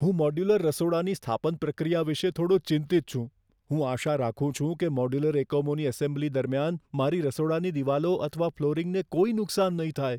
હું મોડ્યુલર રસોડાની સ્થાપન પ્રક્રિયા વિશે થોડો ચિંતિત છું. હું આશા રાખું છું કે મોડ્યુલર એકમોની એસેમ્બલી દરમિયાન મારી રસોડાની દિવાલો અથવા ફ્લોરિંગને કોઈ નુકસાન નહીં થાય.